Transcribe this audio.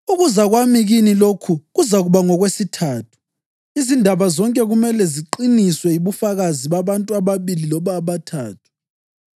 Ukuza kwami kini lokhu kuzakuba ngokwesithathu. “Izindaba zonke kumele ziqiniswe yibufakazi babantu ababili loba abathathu.” + 13.1 UDutheronomi 19.15